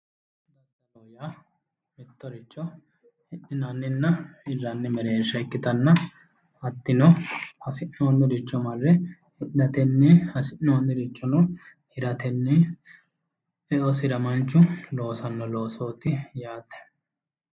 mittoricho hirranninna hidhinanni mereersha ikkitanna hattino hasi'noonniricho marre hidhatenni hasi'noonnirichono hiratenni e'osira manchu loosanno loosooti yaate